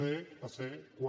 c a ser quatre